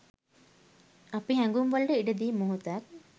අපි හැඟුම්වලට ඉඩ දී මොහොතක්